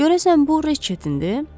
Görəsən bu Riçetindir?